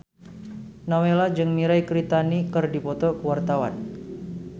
Nowela jeung Mirei Kiritani keur dipoto ku wartawan